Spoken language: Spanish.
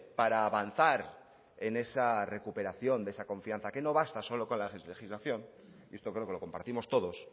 para avanzar en esa recuperación de esa confianza que no basta solo con la legislación esto creo que lo compartimos todos